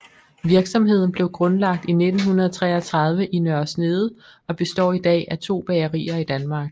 Virksomheden blev grundlagt i 1933 i Nørre Snede og består i dag af to bagerier i Danmark